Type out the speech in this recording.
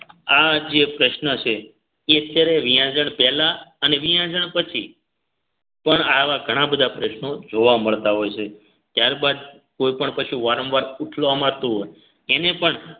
આજે પ્રશ્ન છે એ અત્યારે વિયાંજણ પહેલા અને પછી પણ આવા ઘણા બધા પ્રશ્નો જોવા મળતા હોય છે ત્યારબાદ કોઇ પણ પશુ વારંવાર ઊઠવા માંરતું હોય એને પણ